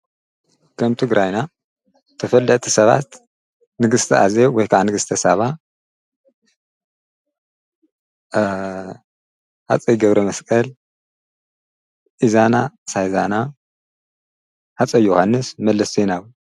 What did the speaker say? ከምቲ ግራይና ተፈል እቲ ሰባት ንግሥቲ ኣዘ ወሕካዓ ንግሥተ ሳባ ሓፀ ይገብሪ መስቀል ኢዛና ሳይዛና ሓፀ ዮሓንስ መለስቶይናዊ።